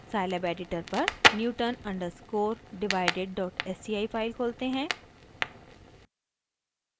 scilab editor पर newton underscore divided dot sci file खोलते हैं